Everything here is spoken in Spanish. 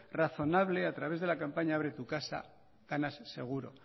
razonable a través de la campaña abre tu casa ganas seguro